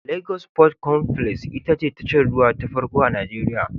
Lagos Port Complex ita ce tashar ruwa ta farko a Nijeriya.